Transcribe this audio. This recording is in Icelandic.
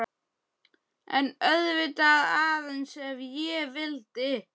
En auðvitað,- aðeins ef ég vildi.